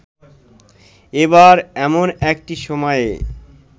এবার এমন একটি সময়ে